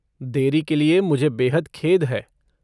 देरी के लिए मुझे बेहद खेद है।